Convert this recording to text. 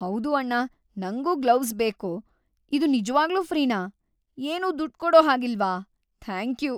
ಹೌದು ಅಣ್ಣ, ನಂಗೂ ಗ್ಲೋವ್ಸ್ ಬೇಕು. ಇದು ನಿಜ್ವಾಗ್ಲೂ ಫ್ರೀನಾ? ಏನೂ ದುಡ್ಡ್‌ ಕೊಡೋ ಹಾಗಿಲ್ವಾ? ಥ್ಯಾಂಕ್ಯೂ!